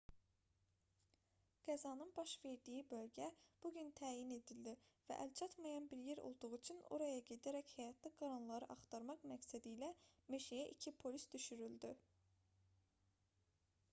qəzanın baş verdiyi bölgə bu gün təyin edildi və əlçatmayan bir yer olduğu üçün oraya gedərək həyatda qalanları axtarmaq məqsədilə meşəyə 2 polis düşürüldü